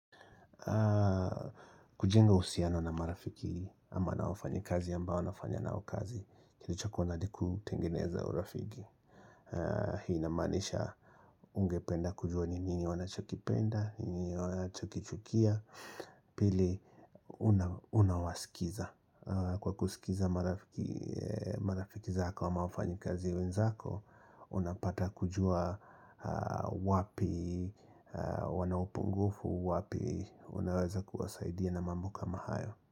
Kujenga uhusiano na marafiki ama na wafanyikazi ambao nafanya na kazi kilichokuwa ni kutengeneza urafiki Hii inamanisha ungependa kujua nini wanachokipenda, nini wanachokichukia Pili unawasikiza Kwa kusikiza marafiki zako ama wafanyikazi wenzako Unapata kujua wapi, wana upungufu wapi Unaweza kuwasaidia na mambo kama hayo.